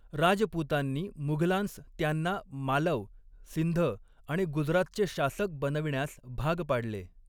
राजपूतांनी मुघलांस त्यांना मालव, सिंध आणि गुजरातचे शासक बनविण्यास भाग पाडले.